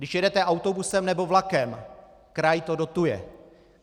Když jedete autobusem nebo vlakem, kraj to dotuje.